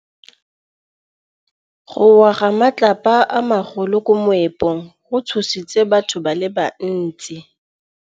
Go wa ga matlapa a magolo ko moepong go tshositse batho ba le bantsi.